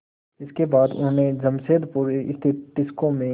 इसके बाद उन्होंने जमशेदपुर स्थित टिस्को में